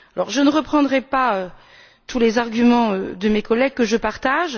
Je ne reprendrai pas tous les arguments de mes collègues, que je partage.